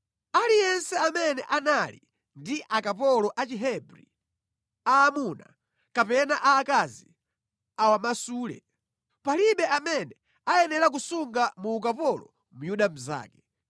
Aliyense amene anali ndi akapolo a Chihebri, aamuna kapena aakazi awamasule; palibe amene ayenera kusunga mu ukapolo Myuda mnzake.